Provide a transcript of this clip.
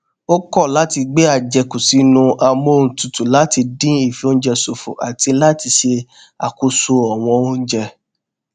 ó kọ láti gbé àjẹkù sínú amóhuntutù láti dín ìfioúnjẹ ṣòfò àti láti ṣe àkóso ọwọn oúnjẹ